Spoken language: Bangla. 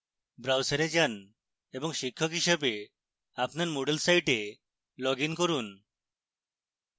browser যান এবং শিক্ষক হিসাবে আপনার moodle site লগইন করুন